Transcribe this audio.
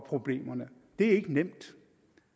problemerne det er ikke nemt